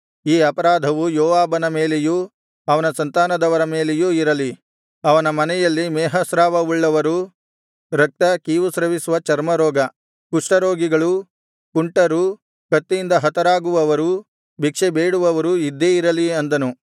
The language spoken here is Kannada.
ಈ ಅಪರಾಧವು ಯೋವಾಬನ ಮೇಲೆಯೂ ಅವನ ಸಂತಾನದವರ ಮೇಲೆಯೂ ಇರಲಿ ಅವನ ಮನೆಯಲ್ಲಿ ಮೇಹಸ್ರಾವವುಳ್ಳವರೂ ರಕ್ತ ಕೀವುಸ್ರವಿಸುವ ಚರ್ಮ ರೋಗ ಕುಷ್ಠರೋಗಿಗಳೂ ಕುಂಟರೂ ಕತ್ತಿಯಿಂದ ಹತರಾಗುವವರೂ ಭಿಕ್ಷೇ ಬೇಡುವವರು ಇದ್ದೇ ಇರಲಿ ಅಂದನು